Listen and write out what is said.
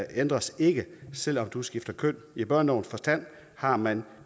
ændres ikke selv om du skifter køn i børnelovens forstand har man